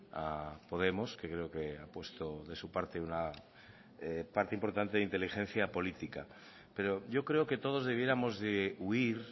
a podemos que creo que ha puesto de su parte una parte importante de inteligencia política pero yo creo que todos debiéramos de huir